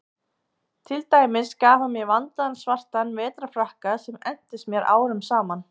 Til dæmis gaf hann mér vandaðan svartan vetrarfrakka sem entist mér árum saman.